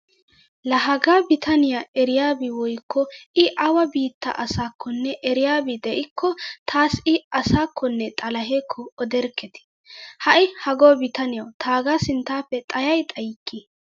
Laa hagaa bitaniyaa eriyaabi woykko i awa biitta asakkonne eriyaabi de'ikko taassi i asakkonne xalahekko oderkketi. Ha'i hago bitaniyawu taagaa sinttaaappe xayay xayikki.